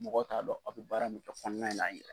Mɔgɔw t'a dɔn aw bɛ baara min kɛ kɔnɔna in na in ye yɛrɛ.